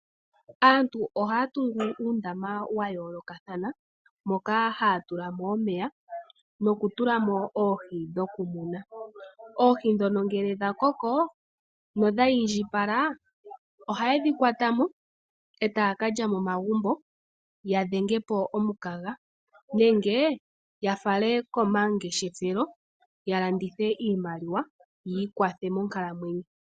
Aantu ohaa tungu uundama wa yoolokathana moka haa tula mo omeya nokutula mo oohi dhoku muna. Oohi dhono ngele dha koko nodha indjipala, ohaye dhi kwata mo e taa kalya momagumbo ya dhenge po omukaga. Nenge ya fale komangeshefelo ya landithe iimaliwa yiikwathe monkalamwenyo.